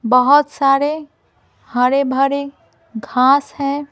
बहुत सारे हरे भरे घास है।